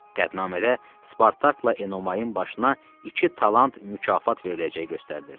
Qətnamədə Spartakla Enomayın başına iki talant mükafat veriləcəyi göstərilirdi.